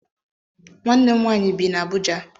Nwanne m nwanyị bi n'Abuja.